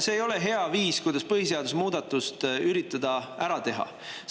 " See ei ole hea viis, kuidas põhiseaduse muudatust üritada ära teha.